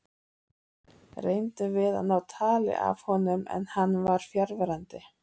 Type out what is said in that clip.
Reyndum við að ná tali af honum en hann var fjarverandi.